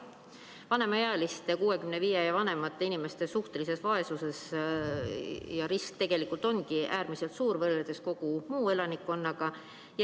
Vanemaealiste, 65 ja vanemate inimeste suhtelise vaesuse risk tegelikult ongi äärmiselt suur võrreldes kogu muu elanikkonnaga.